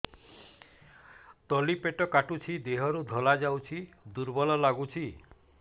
ତଳି ପେଟ କାଟୁଚି ଦେହରୁ ଧଳା ଯାଉଛି ଦୁର୍ବଳ ଲାଗୁଛି